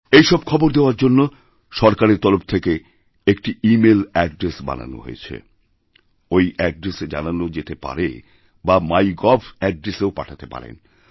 এইসব খবর দেওয়ার জন্য সরকারের তরফ থেকে একটিইমেইল অ্যাড্রেস বানানো হয়েছে ওই অ্যাড্রেসে জানানো যেতে পারে বা মাই গভঅ্যাড্রেসেও পাঠাতে পারেন